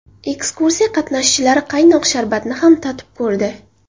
Ekskursiya qatnashchilari qaynoq sharbatni ham totib ko‘rdi.